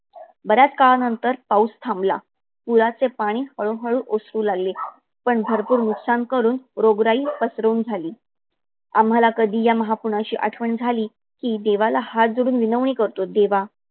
बराच काळा नंतर पाऊस थांबला. पुराचे पाणी हळू हळू ओसरु लागले पण भरपूर नुकनास करून रोगराई पसरवून झाली. आम्हाला कधी महापुराची कधी आठवन झाली कि देवाला हात जोड़न विनवणी करतो. देवा